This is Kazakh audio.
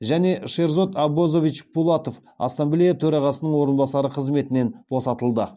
және шерзод аббозович пулатов ассамблея төрағасының орынбасары қызметінен босатылды